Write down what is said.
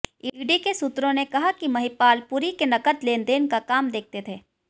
ED के सूत्रों ने कहा कि महिपाल पुरी के नकद लेनदेन का काम देखते थे